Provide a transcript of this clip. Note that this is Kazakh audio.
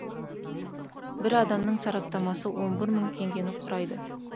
бір адамның сараптамасы он бір мың теңгені құрайды